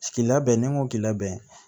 K'i labɛn ni n ko k'i labɛn